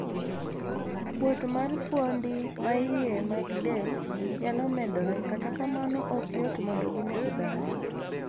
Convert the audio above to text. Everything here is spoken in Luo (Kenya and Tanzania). Kuot mar fuondi maiye mag del nyalo medore, kata kamano ok yot mondo gineg dhano.